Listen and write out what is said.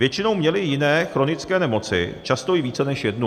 Většinou měli i jiné chronické nemoci, často i více než jednu.